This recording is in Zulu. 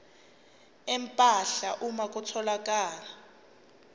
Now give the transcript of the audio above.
empahla uma kutholakala